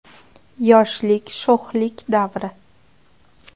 Yoshlik sho‘xlik davri.